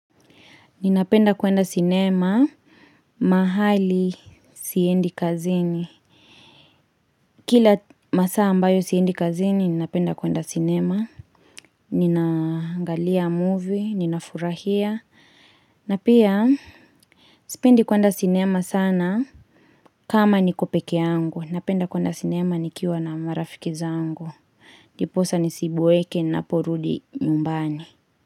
Ninapenda kwenda sinema mahali siendi kazini. Kila masaa ambayo siendi kazini, ninapenda kwenda sinema. Ninangalia movie, ninafurahia. Na pia, sipendi kwenda sinema sana kama niko pekee yangu. Napenda kuenda sinema nikiwa na marafiki zangu. Ndiposa nisiboeke, ninaporudi nyumbani.